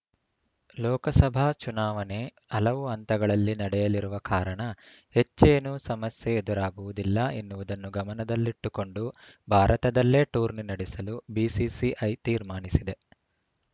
ಲೋಕಸಭಾ ಚುನಾವಣೆ ಹಲವು ಹಂತಗಳಲ್ಲಿ ನಡೆಯಲಿರುವ ಕಾರಣ ಹೆಚ್ಚೇನೂ ಸಮಸ್ಯೆ ಎದುರಾಗುವುದಿಲ್ಲ ಎನ್ನುವುದನ್ನು ಗಮನದಲ್ಲಿಟ್ಟುಕೊಂಡು ಭಾರತದಲ್ಲೇ ಟೂರ್ನಿ ನಡೆಸಲು ಬಿಸಿಸಿಐ ತೀರ್ಮಾನಿಸಿದೆ